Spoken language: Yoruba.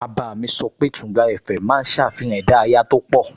Bàbá mi sọ pé Tùngbá FM máa ń ṣàfihàn ìdárayá tó pọ̀